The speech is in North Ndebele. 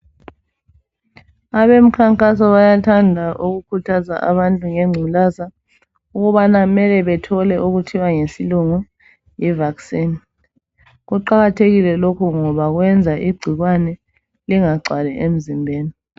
Abemkhankaso bayathanda ukukhuthaza abantu ngengculaza kubana mele bethole okuthiwa ngesilungu yi vaccine kuqakathekile lokhu ngoba kwenza igcikwane lingagcwali emzimbeni.